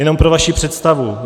Jenom pro vaši představu.